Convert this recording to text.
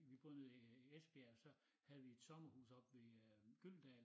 Vi boede nede i Esbjerg og så havde vi et sommerhus oppe ved øh Gyldendal